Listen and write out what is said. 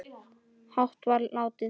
hátt var látið